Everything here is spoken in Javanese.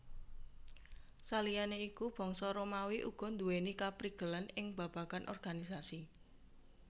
Saliyané iku Bangsa Romawi uga nduwèni kaprigelan ing babagan organisasi